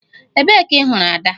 Ebee ka ị hụrụ Ada?